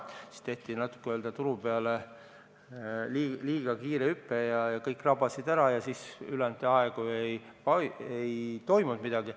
Siis tehti turu peal natuke liiga kiire hüpe ja kõik rabasid võimalused ära ning ülejäänud ajal ei toimunud midagi.